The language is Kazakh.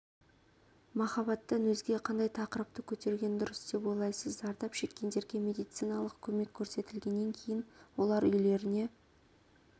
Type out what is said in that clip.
махаббаттан өзге қандай тақырыпты көтерген дұрыс деп ойлайсыз зардап шеккендерге медициналық көмек көрсетілгеннен кейін олар үйлеріне